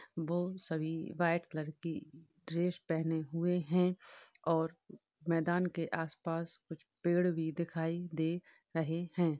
वो सभी white colour की ड्रेस पहने हुए हैं | और मैदान के आस-पास कुछ पेड़ भी दिखाई दे रहे हैं |